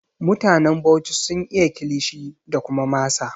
Mutanen Bauchi sun iya Kilishi da kuma masa